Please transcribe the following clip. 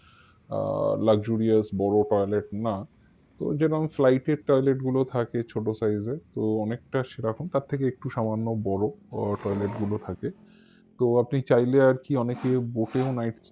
আহ luxurious বড় toilet না তো যেরাম flight এর toilet গুলো থাকে ছোট size এর তো অনেকটা সেরকম তার থেকে একটু সামান্য বড় আহ toilet গুলো থাকে তো আপনি চাইলে আর কি অনেকে boat এও night